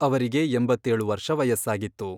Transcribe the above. ಅವರಿಗೆ ಎಂಬತ್ತೇಳು ವರ್ಷ ವಯಸ್ಸಾಗಿತ್ತು.